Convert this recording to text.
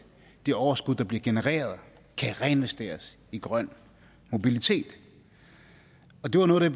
det overskud der bliver genereret kan reinvesteres i grøn mobilitet det var noget